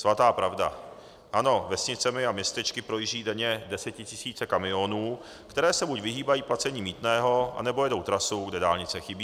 Svatá pravda, ano, vesnicemi a městečky projíždí denně desetitisíce kamionů, které se buď vyhýbají placení mýtného, anebo jedou trasu, kde dálnice chybí.